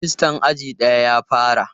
Rajistan aji daya ya fara.